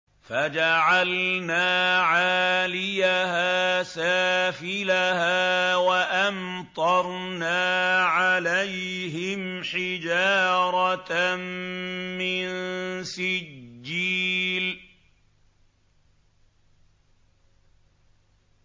فَجَعَلْنَا عَالِيَهَا سَافِلَهَا وَأَمْطَرْنَا عَلَيْهِمْ حِجَارَةً مِّن سِجِّيلٍ